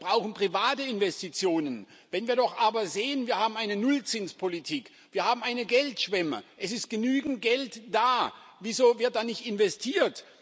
Wir brauchen private Investitionen. Wenn wir doch aber sehen Wir haben eine Nullzinspolitik, wir haben eine Geldschwemme, es ist genügend Geld da wieso wird dann nicht investiert?